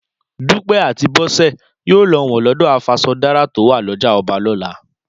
Dúpẹ́ àti Bọ́sẹ̀ yóò lọ wọ̀n lọ́dọ̀ afaṣọdárà to wà lọ́jà ọba lọ́la